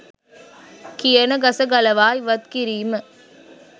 කියන ගස ගලවා ඉවත් කිරීම